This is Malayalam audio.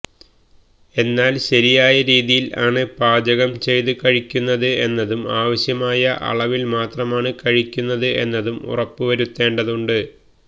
എന്നാൽ ശരിയായ രീതിയിൽ ആണ് പാചകം ചെയ്തു കഴിക്കുന്നത് എന്നതും ആവശ്യമായ അളവിൽ മാത്രമാണ് കഴിക്കുന്നത് എന്നതും ഉറപ്പ് വരുത്തേണ്ടതുണ്ട്